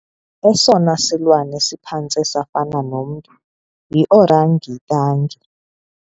Esona silwanyana siphantse safana nomntu yiorangitangi.